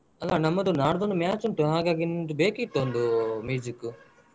ಅಲ್ಲಾ ನಮ್ಮದು ನಾಡ್ದೊಂದು match ಉಂಟು ಹಾಗಾಗಿ ನಿಮ್ದು ಬೆಕ್ಕಿತ್ತೊಂದು ಕು.